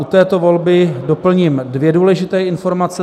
U této volby doplním dvě důležité informace.